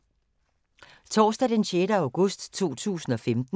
Torsdag d. 6. august 2015